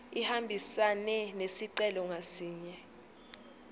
ihambisane nesicelo ngasinye